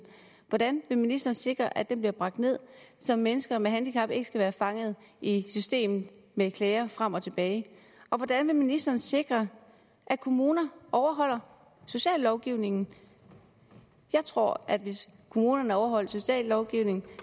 hvordan vil ministeren sikre at den bliver bragt ned så mennesker med handicap ikke skal være fanget i systemet med klager frem og tilbage og hvordan vil ministeren sikre at kommuner overholder sociallovgivningen jeg tror at hvis kommunerne overholdt sociallovgivningen